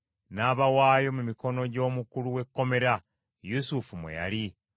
n’abawaayo mu mikono gy’omukulu w’ekkomera, Yusufu mwe yali.